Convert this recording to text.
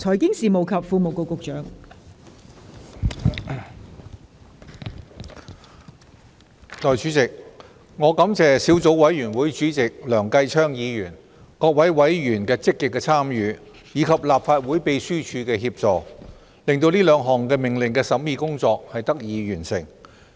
代理主席，我感謝小組委員會主席梁繼昌議員、各位委員的積極參與，以及立法會秘書處的協助，令兩項命令的審議工作得以完成。